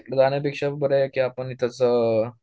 तिकडे जाण्यापेक्षा बरंय की आपण इथेच